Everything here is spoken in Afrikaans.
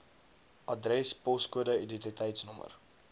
adres poskode identiteitsnommer